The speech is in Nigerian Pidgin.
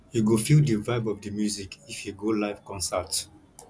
you go feel di vibe of di music if you go live concert